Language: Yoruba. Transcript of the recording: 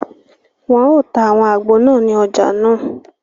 Wọn o tà awọn àgbo náà ní ọja nàá